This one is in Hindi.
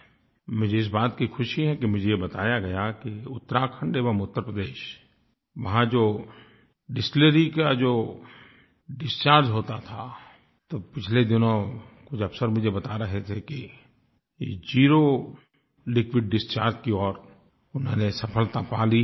मुझे इस बात की ख़ुशी है कि मुझे बताया गया कि उत्तराखंड एवं उत्तर प्रदेश वहाँ जो डिस्टिलरी का जो डिसचार्ज होता था तो पिछले दिनों कुछ अफसर मुझे बता रहे थे कि ज़ेरो लिक्विड डिसचार्ज की ओर उन्होंने सफलता पा ली है